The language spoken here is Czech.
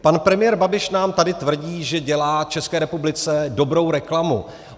Pan premiér Babiš nám tady tvrdí, že dělá České republice dobrou reklamu.